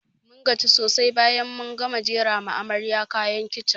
Mun gaji sosai bayan mun gama jera wa amaryan kayan kicin